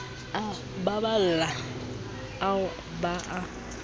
a paballo ao ba a